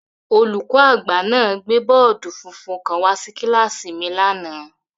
Olùkọ́-agba náà gbé bọọdi funfun kan wá sí kíláàsì mi lánàá.